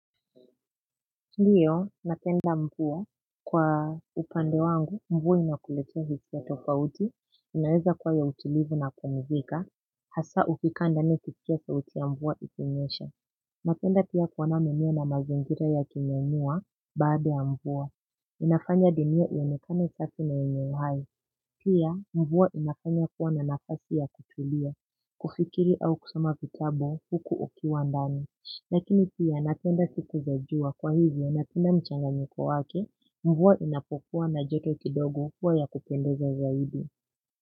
Ndiyo napenda mvua. Kwa upande wangu mvua inakuletea vitu tofauti inaweza kwa ya utilivu na kupumzika hasa ukikaa ndani ukiskia sauti ya mvuaa ikinyesha. Napenda pia kuona mwenyewe na mazingira ya kinyanyua baada ya mvua inafanya dunia iyonekane safi na yenye uhai. Pia mvua inafanya kuwa na nafasi ya kutulia kufikiri au kusoma vitabu huku ukiwa ndani. Lakini pia napenda siku za jua kwa hivyo napenda mchanganyiko wake mvua inapokua na joto kidogo huwa ya kupendeza zaidi.